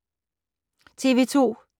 TV 2